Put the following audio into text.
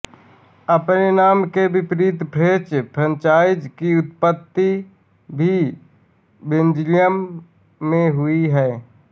अपने नाम के विपरीत फ्रेंच फ्राइज़ की उत्पत्ति भी बेल्जियम में हुई है